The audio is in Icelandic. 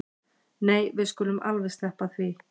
Nei við skulum alveg sleppa því